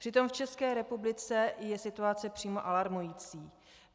Přitom v České republice je situace přímo alarmující.